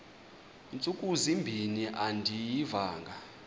ntsuku zimbin andiyivanga